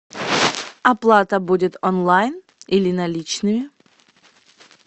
оплата будет онлайн или наличными